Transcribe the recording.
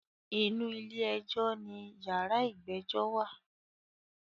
Inú ilé ẹjọ́ ní yàrá ìgbẹ́jọ́ wà.